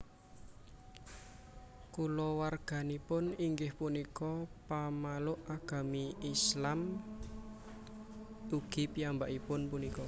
Kulawarganipun inggih punika pamaluk Agami Islam ugi piyambakipun punika